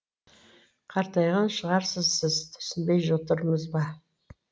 қартайған шығарсыз сіз түсінбей отырмыз біз